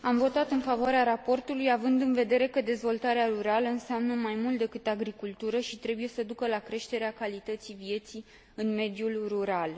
Am votat în favoarea raportului, având în vedere că dezvoltarea rurală înseamnă mai mult decât agricultură și trebuie să ducă la creșterea calității vieții în mediul rural.